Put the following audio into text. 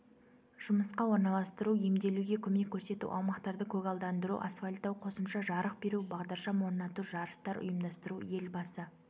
жұмысқа орналастыру емделуге көмек көрсету аумақтарды көгалдандыру асфальттау қосымша жарық беру бағдаршам орнату жарыстар ұйымдастыру елбасы